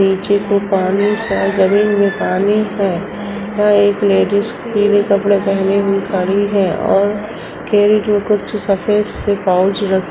नीचे के पानी-सा जमीन में पानी है। यहाँ एक लेडीज पीले कपड़े पहने हुए खड़ी है और कुछ सफ़ेद से पाउच र --